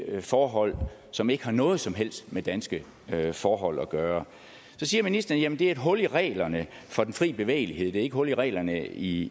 forhold som ikke har noget som helst med danske forhold at gøre så siger ministeren at det er et hul i reglerne for den frie bevægelighed det er ikke et hul i reglerne i